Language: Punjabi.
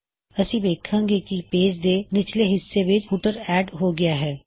ਅਸੀ ਵੇੱਖਾਂ ਗੇ ਕੀ ਪੇਜ ਦੇ ਨਿਚਲੇ ਹਿੱਸੇ ਵਿੱਚ ਫੁੱਟਰ ਐਡ ਹੋ ਗਇਆ ਹੈ